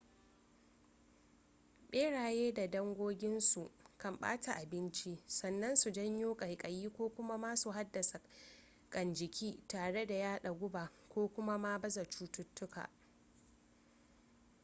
beraye da dangoginsu kan bata abinci sannan su janyo kaikayi ko kuma ma su haddasa kan jiki tare da yada guba ko kuma ma baza cututtuka